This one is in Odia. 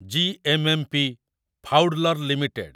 ଜି.ଏମ.ଏମ.ପି. ଫାଉଡ୍‌ଲର୍‌ ଲିମିଟେଡ୍